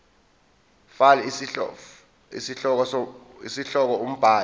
fal isihloko umbhali